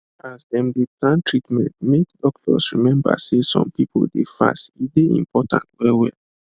as dem dey plan treatment make doctor remember say some people dey fast e dey important well well